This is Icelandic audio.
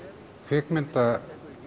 kvikmynda